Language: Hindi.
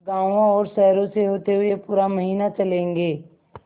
गाँवों और शहरों से होते हुए पूरा महीना चलेंगे